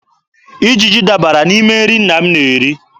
Ijiji dabara n'ime nri nna m na-eri.